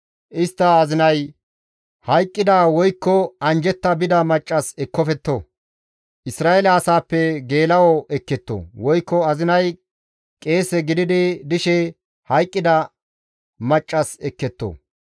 Istta azinay hayqqida, woykko anjjetta bida maccas machcho ekkofetto. Isra7eele asaappe geela7o ekketto; woykko azinay qeese gididi dishe hayqqida maccassa ekketto.